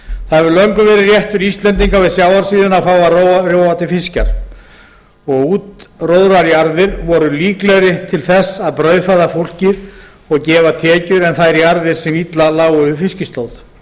það hefur löngum verið réttur íslendinga við sjávarsíðuna að fá að róa til fiskjar og útróðrajarðir voru líklegri til þess að brauðfæða fólkið og gefa tekjur en þær jarðir sem illa lágu við fiskislóð